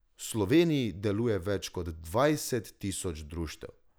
V Sloveniji deluje več kot dvajset tisoč društev.